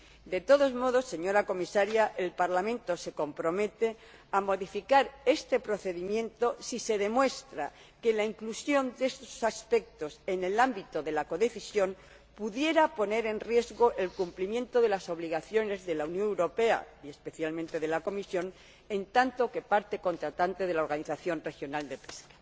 De todos modos, señora Comisaria, el Parlamento se compromete a modificar este procedimiento si se demuestra que la inclusión de estos aspectos en el ámbito de la codecisión pudiera poner en riesgo el cumplimiento de las obligaciones de la Unión Europea y, especialmente, de la Comisión, en tanto que parte contratante de la organización regional de pesca.